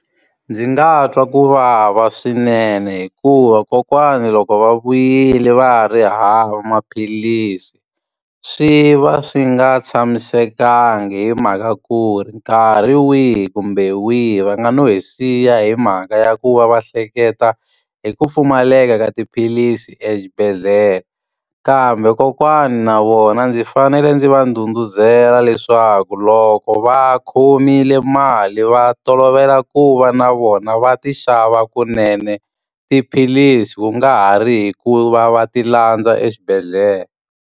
Ndzi nga twa ku vava swinene hikuva kokwana loko va vuyile va ha ri hava maphilisi, swi va swi nga tshamisekanga hi mhaka ku ri nkarhi wihi kumbe wihi va nga no hi siya hi mhaka ya ku va va hleketa hi ku pfumaleka eka ka ka tiphilisi exibedhlele. Kambe kokwani na vona ndzi fanele ndzi va ndhudhuzela leswaku loko va khomile mali va tolovela ku va na vona va ti xava kunene tiphilisi, ku nga ha ri hi ku va va ti landza exibedhlele.